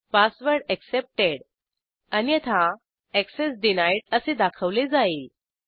password accepted अन्यथा access denied असे दाखवले जाईल